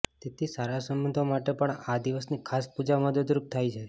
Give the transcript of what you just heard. તેથી સારા સંબંધો માટે પણ આ દિવસની ખાસ પૂજા મદદરૂપ થાય છે